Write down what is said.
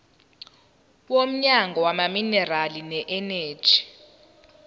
womnyango wezamaminerali neeneji